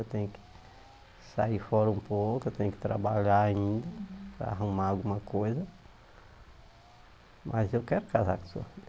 Eu tenho que sair fora um pouco, eu tenho que trabalhar ainda para arrumar alguma coisa, mas eu quero casar com sua filha.